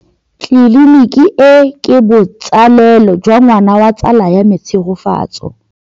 Tleliniki e, ke botsalêlô jwa ngwana wa tsala ya me Tshegofatso.